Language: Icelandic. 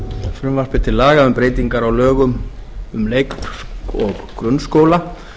frumvarpi til laga um breytingu á lögum um leik og grunnskóla